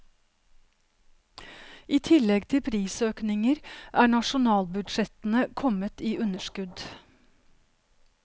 I tillegg til prisøkninger er nasjonalbudsjettene kommet i underskudd.